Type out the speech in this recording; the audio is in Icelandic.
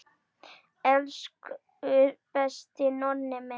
Elsku besti Nonni minn.